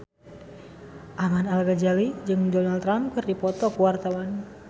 Ahmad Al-Ghazali jeung Donald Trump keur dipoto ku wartawan